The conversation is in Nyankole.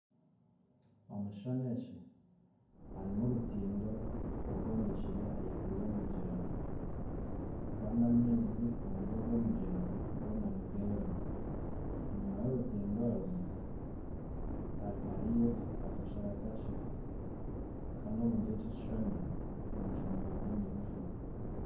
Omu kishuushani eki harimu orutindo orwombekire ahaiguru y'omugyera kandi amaizi omuri ogw'omugyera goona nigeera enyuma y'orutindo orwe hariyo akashaarara kakye kandi omuri eki ekishuushani omushaana gurimu nigujwa